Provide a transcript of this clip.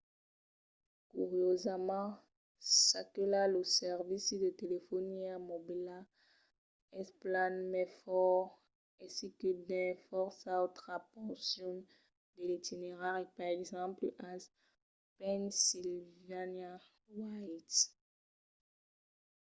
curiosament çaquelà lo servici de telefonia mobila es plan mai fòrt aicí que dins fòrça autras porcions de l'itinerari per exemple als pennsylvania wilds